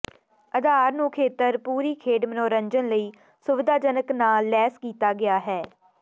ਅਧਾਰ ਨੂੰ ਖੇਤਰ ਪੂਰੀ ਖੇਡ ਮਨੋਰੰਜਨ ਲਈ ਸੁਵਿਧਾਜਨਕ ਨਾਲ ਲੈਸ ਕੀਤਾ ਗਿਆ ਹੈ